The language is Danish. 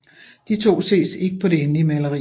De to ses ikke på det endelige maleri